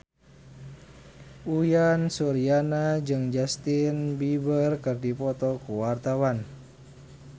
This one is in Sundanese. Uyan Suryana jeung Justin Beiber keur dipoto ku wartawan